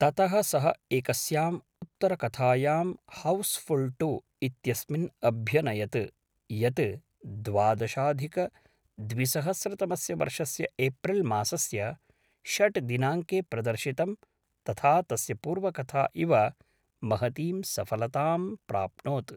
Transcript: ततः सः एकस्याम् उत्तरकथायां हौस्फुल् टु इत्यस्मिन् अभ्यनयत्, यत् द्वादशाधिकद्विसहस्रतमस्य वर्षस्य एप्रिल्मासस्य षड् दिनाङ्के प्रदर्शितं, तथा तस्य पूर्वकथा इव महतीं सफलतां प्राप्नोत्।